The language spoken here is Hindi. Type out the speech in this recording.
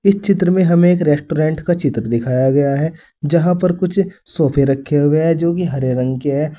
इस चित्र में हमे एक रेस्टोरेंट का चित्र दिखाया गया है जहां पर कुछ सोफे रखे हुए है जो को हरे रंग के है।